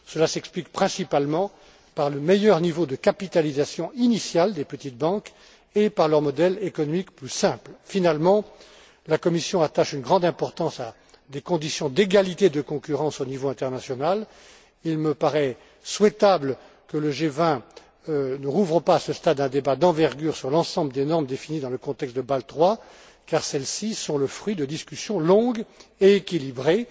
Cela s'explique principalement par le meilleur niveau de capitalisation initial des petites banques et par leur modèle économique plus simple. Finalement, la Commission attache une grande importance à des conditions d'égalité de concurrence au niveau international. Il me paraît souhaitable que le G20 ne rouvre pas à ce stade un débat d'envergure sur l'ensemble des normes définies dans le contexte de Bâle III car celles ci sont le fruit de discussions longues et équilibrées.